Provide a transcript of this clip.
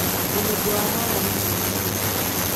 Mũnungo wa haha nĩ mũru mũno.